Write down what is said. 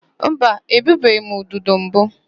Mba, egbubeghị m ududo mbụ.